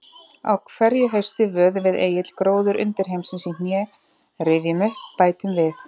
Á hverju hausti vöðum við Egill gróður undirheimsins í hné, rifjum upp, bætum við.